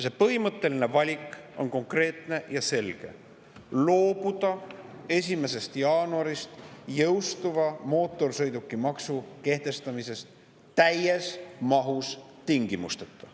See põhimõtteline valik on konkreetne ja selge: loobuda 1. jaanuarist jõustuva mootorsõidukimaksu kehtestamisest täies mahus ja tingimusteta.